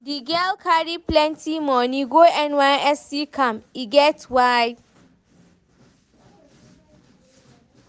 Di girl carry plenty moni go NYSC camp, e get why.